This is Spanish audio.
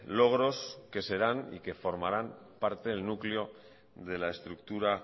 logros que serán y que formaran parte del núcleo de la estructura